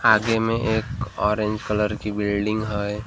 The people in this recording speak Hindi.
आगे मे एक ऑरेंज कलर की बिल्डिंग हे वहां।